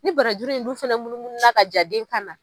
Ni barajuru in du fɛnɛ munumuna ka jaa den kan na.